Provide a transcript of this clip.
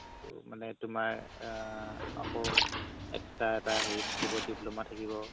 ত মানে তুমাৰ আ আকৌ extra এটা হেৰি থাকিব diploma থাকিব